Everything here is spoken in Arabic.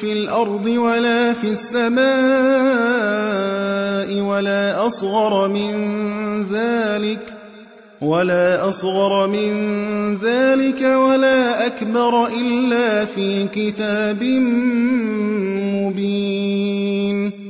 فِي الْأَرْضِ وَلَا فِي السَّمَاءِ وَلَا أَصْغَرَ مِن ذَٰلِكَ وَلَا أَكْبَرَ إِلَّا فِي كِتَابٍ مُّبِينٍ